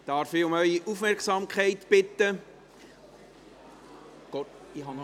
Darf ich um Ihre Aufmerksamkeit bitten?